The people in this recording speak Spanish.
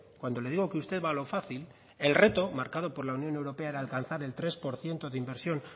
cuando le digo que usted va a lo fácil el reto marcado por la unión europea era alcanzar el tres por ciento de inversión